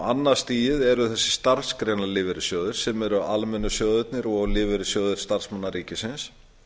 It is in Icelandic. annað stigið er þessir starfsgreinalífeyrissjóða sem eru almennu sjóðirnir og lífeyrissjóður starfsmanna ríkisins